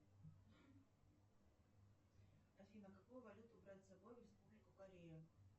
афина какую валюту брать с собой в республику корею